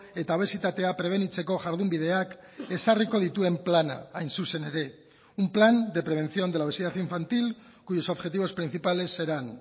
eta obesitatea prebenitzeko jardunbideak ezarriko dituen plana hain zuzen ere un plan de prevención de la obesidad infantil cuyos objetivos principales serán